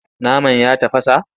Naman ya tafasa?